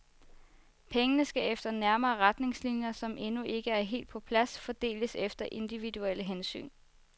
Pengene skal efter nærmere retningslinjer, som endnu ikke er helt på plads, fordeles efter individuelle hensyn.